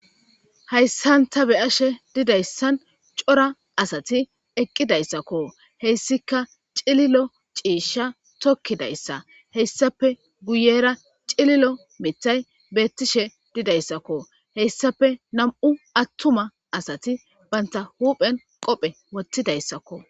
Hayssan ta be ashe didayssan cora asati eqqidayssakko heyssika cililo ciisha tokkidayssa heyssape guyera cililo mitay beettishe didayssakko heyssape nam'u attuma asati banta huuphen qophe wottidayssakko.